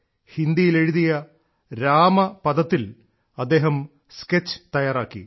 ഹിന്ദിയിലെഴുതിയ രാമപദത്തിൽ അദ്ദേഹം സ്കെച്ച് തയ്യാറാക്കി